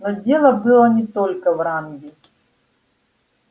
но дело было не только в ранге